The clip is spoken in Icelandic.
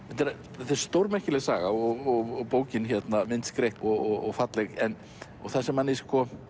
þetta er stórmerkileg saga og bókin myndskreytt og falleg og það sem manni